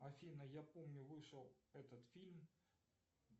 афина я помню вышел этот фильм